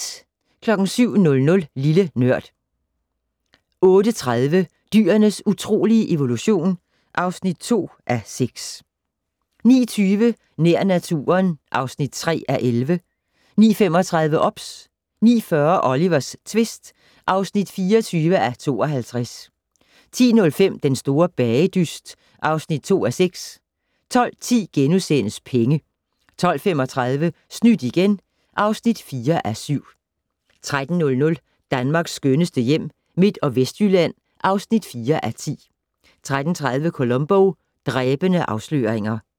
07:00: Lille Nørd 08:30: Dyrenes utrolige evolution (2:6) 09:20: Nær naturen (3:11) 09:35: OBS 09:40: Olivers tvist (24:52) 10:05: Den store bagedyst (2:6) 12:10: Penge * 12:35: Snydt igen (4:7) 13:00: Danmarks skønneste hjem - Midt- og Vestjylland (4:10) 13:30: Columbo: Dræbende afsløringer